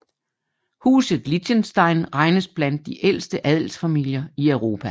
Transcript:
Huset Liechtenstein regnes blandt de ældste adelsfamilier i Europa